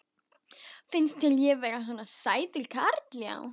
Finnst þér ég svona sætur karl já.